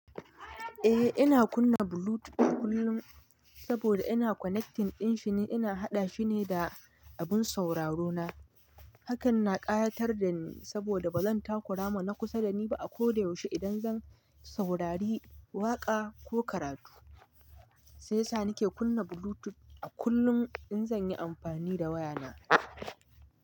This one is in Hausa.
Eh ina kunna Bluetooth kullum saboda ina connecting ɗin shine ina haɗa shi ne da abun sauraro na. Hakan na ƙayatar dani, saboda barin takura ma na kusa dani ako da yaushi idan zan saurari waƙa ko karatu sai sa ni ke kunna Bluetooth a kullum in zan yi amfani da waya na.